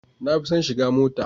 Na fi son shiga mota.